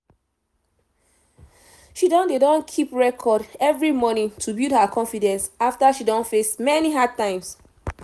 she don dey don keep record every morning to build her confidence after she don face many hard times